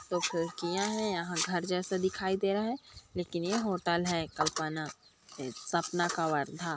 दो खिड़कियां है यहाँ घर जैसा दिखाई दे रहा है लेकिन ये होटल है कल्पना सपना कवर्धा--